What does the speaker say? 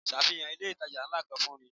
Safihan ilé itàjà ńlá kan fún mi.